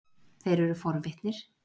Þeir eru forvitnir.